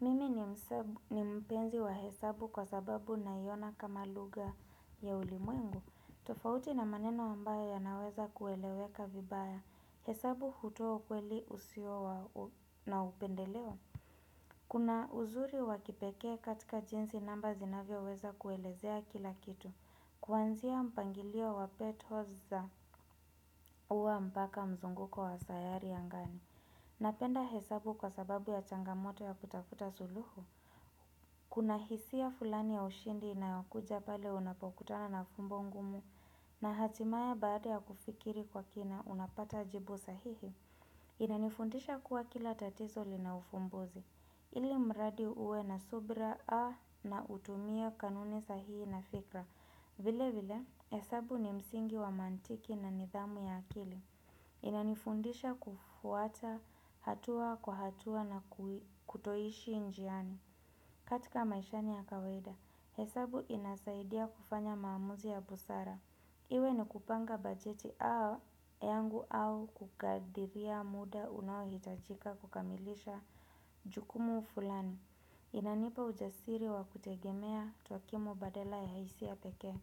Mimi ni mpenzi wa hesabu kwa sababu na iona kama luga ya ulimuengu. Tofauti na maneno ambayo ya naweza kueleweka vibaya. Hesabu hutoa ukweli usiowa na upendeleo. Kuna uzuri wakipeke katika jinsi namba zinavyo weza kuelezea kila kitu. Kwanzia mpangilio wa petho za uwa mpaka mzunguko wa sayari ya ngani. Napenda hesabu kwa sababu ya changamoto ya kutafuta suluhu. Kuna hisia fulani ya ushindi inayakuja pale unapokutana na fumbo ngumu na hatimaye baada ya kufikiri kwa kina unapata jibu sahihi, inanifundisha kuwa kila tatizoli na ufumbuzi. Ili mradi uwe na subra a na utumia kanuni sahihi na fikra. Vile vile, hesabu ni msingi wa mantiki na nidhamu ya akili. Inanifundisha kufuata hatua kwa hatua na kutoishi njiani. Katika maishani ya kawaida, hesabu inasaidia kufanya maamuzi ya busara. Iwe ni kupanga bajeti au yangu au kukadiria muda unawitajika kukamilisha jukumu fulani. Inanipa ujasiri wa kutegemea tuakimu badela ya haisi ya peke.